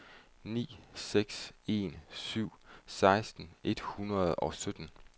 ni seks en syv seksten et hundrede og sytten